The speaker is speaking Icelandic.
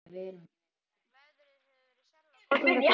Veðrið hefur verið sérlega gott hingað til.